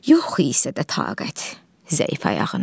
Yox isə də taqət zəif ayağında.